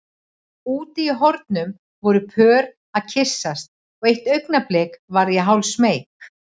Úti í hornum voru pör að kyssast og eitt augnablik varð ég hálfsmeyk.